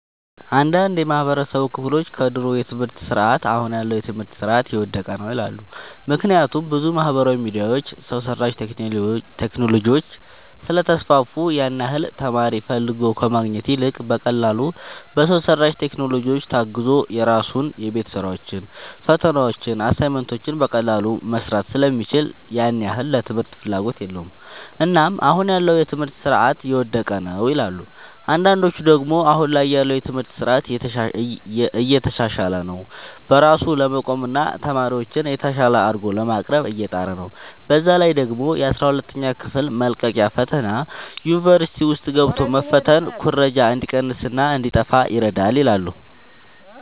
አንዳንድ የማህበረሰቡ ክፍሎች ከድሮ የትምህርት ስርዓት አሁን ያለው የትምህርት ስርዓት የወደቀ ነው ይላሉ። ምክንያቱም ብዙ ማህበራዊ ሚዲያዎች፣ ሰው ሰራሽ ቴክኖሎጂዎች ስለተስፋፉ ያን ያህል ተማሪ ፈልጎ ከማግኘት ይልቅ በቀላሉ በሰው ሰራሽ ቴክኖሎጂዎች ታግዞ የራሱን የቤት ስራዎችን፣ ፈተናዎችን፣ አሳይመንቶችን በቀላሉ መስራት ስለሚችል ያን ያህል ለትምህርት ፍላጎት የለውም። እናም አሁን ያለው የትምህርት ስርዓት የወደቀ ነው ይላሉ። አንዳንዶች ደግሞ አሁን ላይ ያለው የትምህርት ስርዓት እየተሻሻለ ነው። በራሱ ለመቆምና ተማሪዎችን የተሻለ አድርጎ ለማቅረብ እየጣረ ነው። በዛ ላይ ደግሞ የአስራ ሁለተኛ ክፍል መልቀቂያ ፈተና ዩኒቨርሲቲ ውስጥ ገብቶ መፈተን ኩረጃ እንዲቀንስና እንዲጣፋ ይረዳል ይላሉ።